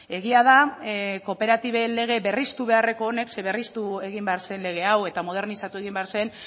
egia da kooperatiben lege berriztu beharreko honek ze berriztu egin behar zen lege hau eta modernizatu egin behar zen